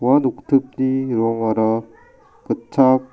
ua noktipni ning·aoara gitchak--